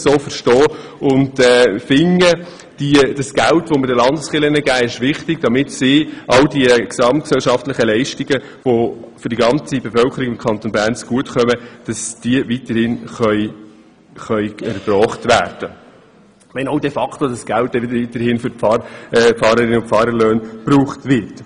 Wir denken, dass das Geld, das wir den Landeskirchen geben, wichtig ist, damit diese ihre Leistungen, die der gesamten Bevölkerung des Kantons Bern zugutekommen, weiterhin erbringen können, auch wenn dieses Geld de facto weiterhin für die Pfarrlöhne verwendet wird.